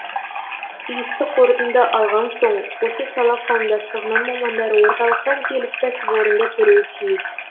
тиісті қорытынды алған соң осы сала қауымдастығының мамандары орталықтан келіп кәсіпорынды көруі тиіс